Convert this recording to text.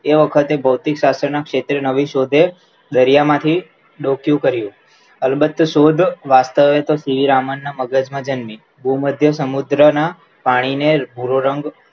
એ વખતે ગૌતી શાસ્ત્રના શેત્રે નવી શોધે દરિયામાંથી દોકીયુ કર્યું અલ્બ્તે શોધ વાસ્તવે શ્રી રાવન ના મગજમાં જન્મી ગૃહ મધ્ય સમુદ્રના પાણીને ભૂરો રંગ